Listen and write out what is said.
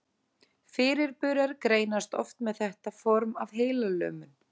Fyrirburar greinast oft með þetta form af heilalömun.